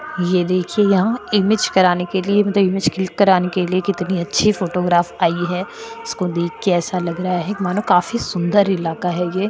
ये देखिए यहा इमेज कराने के लिए इमेज क्लिक करने के लिए कितनी अच्छी फोटोग्राफ आई है उसको देखकर ऐसा लग रहा है मानो काफी सुंदर इलाका है ये।